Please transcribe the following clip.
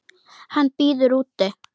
Hann bíður úti.